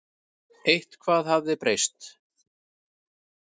Eitthvað hafði breyst.